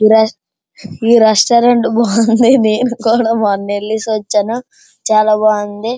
ఈ రెస్-ఈ రెస్టారెంట్ బాగుంది నేను కూడా మొన్న ఎల్లేసి వచ్చాను చాలా బాగుంది.